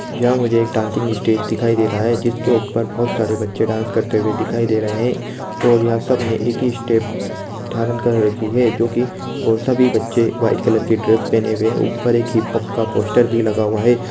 यहां मुझे एक डांसिंग स्टेज दिखाई दे रहा है जिसके ऊपर बहुत सारे बच्चे डांस करते हुए दिखाई दे रहे है और यहां सबने एक ही स्टेप धारण कर रखी है जो कि सभी बच्चे वाइट कलर की ड्रेस पहने हुए है ऊपर एक हिपहॉप का पोस्टर भी लगा हुआ है।